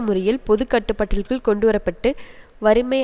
முறையில் பொது கட்டுப்பாட்டிற்குள் கொண்டுவர பட்டு வறுமை